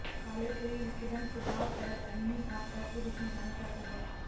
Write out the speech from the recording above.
काले शरीर विकिरण प्रभाव पराबैंगनी आपदा के रूप में जाना जाता है